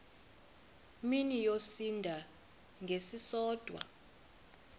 mini yosinda ngesisodwa